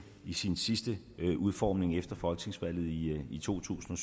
i sin sidste udformning efter folketingsvalget i to tusind